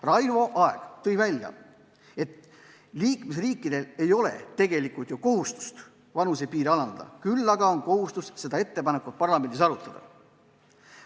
Raivo Aeg mainis, et liikmesriikidel ei ole tegelikult kohustust vanusepiiri alandada, küll aga on neil kohustus seda ettepanekut parlamendis arutada.